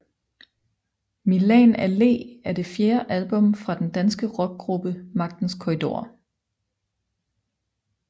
Milan Allé er det fjerde album fra den danske rockgruppe Magtens Korridorer